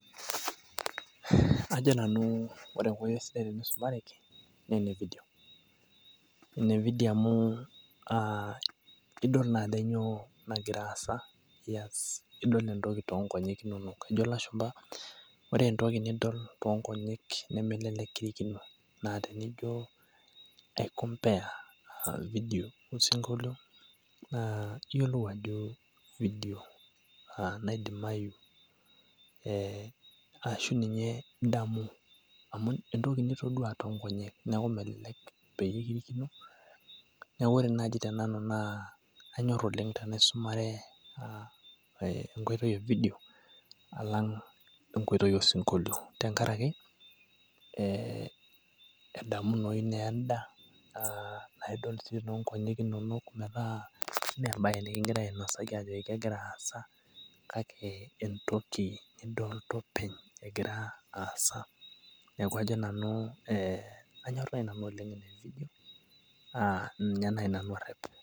qjo nanu ore enkoitoi sidai teneisumareki ene video amu, idol ajo kainyoo nagira aasa. idol entoki too nkonyek inonok. ejo lashumpa ore entoki nidol too nkonyek nemelelek kirikino. naa tenijo ai compare video osinkolio iyiolou ajo, video naidimayu aashu ninye idamu. amu entoki nitoduaa too nkonyek. neeku melelek peyie kirikino. neeku ore naaji tenanu anyor oleng tenaisumare video alang enkoitoi osinkolio tenkaraki edamunoyu naa eda, nidol ajo kegira aasa kake entoki, nidoolta openy egira aasa. neeku ninye naaji nanu arep.